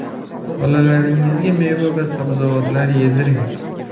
Bolalaringizga meva va sabzavotlar yediring.